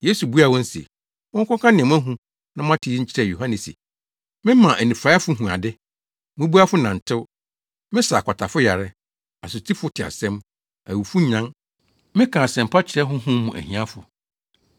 Yesu buaa wɔn se. “Monkɔka nea moahu na moate yi nkyerɛ Yohane se, mema anifuraefo hu ade, mmubuafo nantew, mesa akwatafo yare, asotifo te asɛm, awufo nyan, meka asɛmpa kyerɛ honhom mu ahiafo.